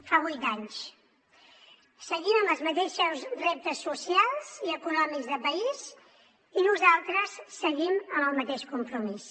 fa vuit anys seguim amb els mateixos reptes socials i econòmics de país i nosaltres seguim amb el mateix compromís